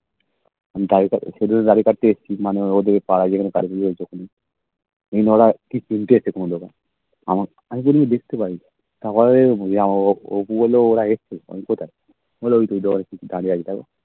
মানে তাই ওদের মানে ওরা পারা যেখানে ওরা তিনটে এসছে কোনো জায়গায় আমি যদি দেখতে যাই তারপরে অপু বলে ওরা এসেছে আমি বলি কোথায় বলে ঐতো ঐতো